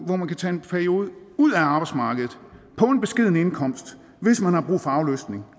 hvor man kan tage en periode ude af arbejdsmarkedet på en beskeden indkomst hvis man har brug for aflastning